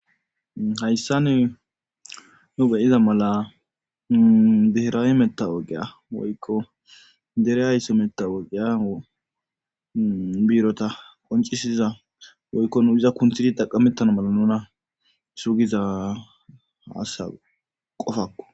hayssan nu beyiza mala dehiraw metta woqiya woykko dere aysso metta wogeya biirota qoncisiza woykko nu iza kunthidi taqamettana mala nuna sugiza asa qofakko